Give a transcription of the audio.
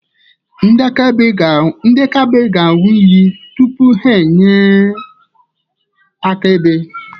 Ndị akaebe ga-aṅụ iyi tupu ha enye akaebe.